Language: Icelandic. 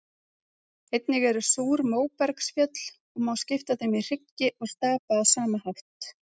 Einnig eru súr móbergsfjöll og má skipta þeim í hryggi og stapa á sama hátt.